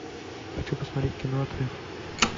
хочу посмотреть кино отрыв